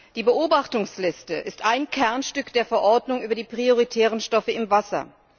Die Beobachtungsliste ist ein Kernstück der Verordnung über die prioritären Stoffe im Wasser.